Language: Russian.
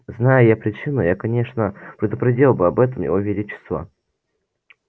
знай я причину я конечно предупредил бы об этом его величество